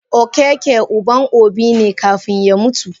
Okeke uban obi ne kafun ya mutu.